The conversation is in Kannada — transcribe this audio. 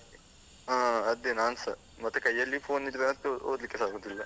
ಹಾ ಅದೇ ನಾನ್ಸ, ಮತ್ತೆ ಕೈಯಲ್ಲಿ phone ಇದ್ರೆ ಅಂತೂ ಓದ್ಲಿಕ್ಕೆಸ ಆಗುದಿಲ್ಲ.